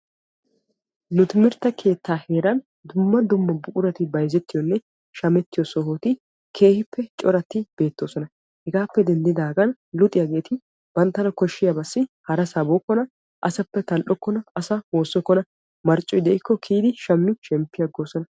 Nu timirtte keetta heeran daro buquratti bayzzettiyo coratti de'osonna. Hegaa gishawu luxiyagetti banttana koshaba kiyiddi asaa oychenan shamosonna.